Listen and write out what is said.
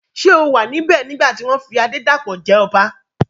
Ṣé o wà níbẹ̀ nígbà tí wọ́n fi Adédàpọ̀ jẹ ọba?